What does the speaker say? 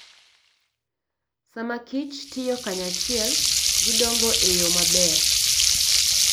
Sama kich tiyo kanyachiel, gidongo e yo maber.